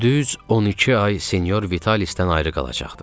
Düz 12 ay sinyor Vitalisdən ayrı qalacaqdıq.